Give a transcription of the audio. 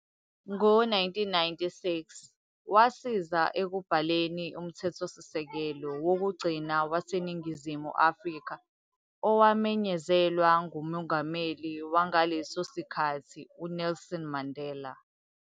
Ngo-1996, wasiza ekubhaleni umthethosisekelo wokugcina waseNingizimu Afrika owamenyezelwa nguMongameli wangaleso sikhathi uNelson Mandela.